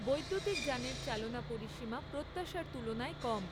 বৈদ্যুতিক যানের চালনা পরিসীমা প্রত্যাশার তুলনায় কম।